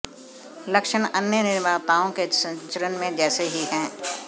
लक्षण अन्य निर्माताओं के संचरण में जैसे ही हैं